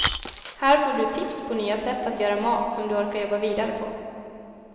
Här får du tips på nya sätt att göra mat som du orkar jobba vidare på.